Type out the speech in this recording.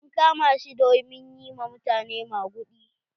An kama shi domin yi wa mutane maguɗi.